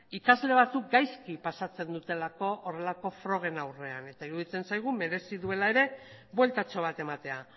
ikasle batzuk gaizki pasatzen dutelako horrelako frogen aurrean eta iruditzen zaigu merezi duela ere bueltatxo bat ematea